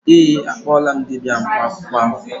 Ee, akpọọla m dibịa mkpa akwụkwọ ahụ.